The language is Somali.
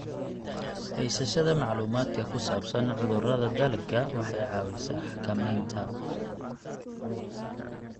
Haysashada macluumaadka ku saabsan cudurrada dalagga waxay caawisaa xakamaynta.